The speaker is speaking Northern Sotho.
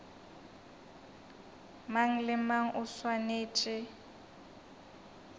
mang le mang o swanetše